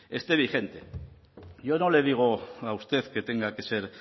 esté vigente yo no le digo a usted que tenga que ser